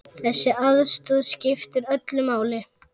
Þessi aðstoð skiptir öllu máli.